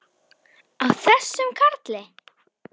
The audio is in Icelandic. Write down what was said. Á þessum karli!